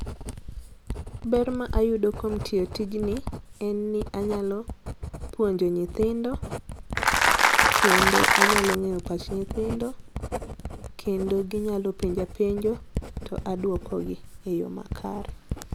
Ber ma ayudo kuom tiyo tijni en ni anyalo puonjo nyitindo, kendo anyalo ng'eyo pach nyithindo kendo ginyalo penja penjo to aduoko gi e yoo makare.